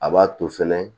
A b'a to fɛnɛ